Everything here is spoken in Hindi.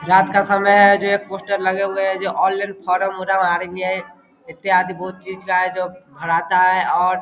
रात का समय है पोस्टर लगे हुए है आल इन फॉर्म आर.बी.आई. इत्यादि भराता है और --